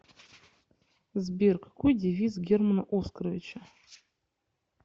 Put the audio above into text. сбер какой девиз германа оскаровича